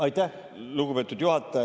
Aitäh, lugupeetud juhataja!